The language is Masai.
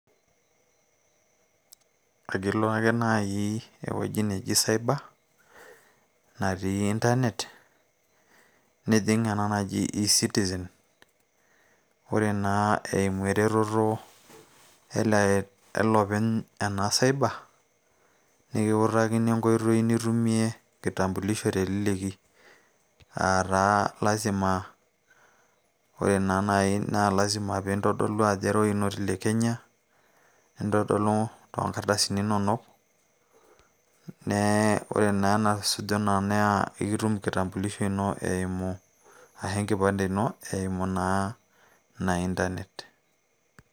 akilo ake naaji ewueji neji cyber natii internet nijing ena naji e citizen ore naa eimu eretoto ele openy ena cyber nikiutakini enkoitoi nitumie kitambulisho teleleki aataa lazima ore naa naaji na lazima piintodolu ajo ira oinoti le kenya nintodolu toonkardasini inonok nee ore naa enasuju ina naa ekitum kitambulisho ino eimu ashu enkipande ino eimu naa ina internet.